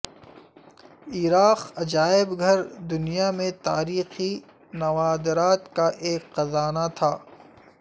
عراق عجائب گھر دنیا میں تاریخی نوادرات کا ایک خزانہ تھا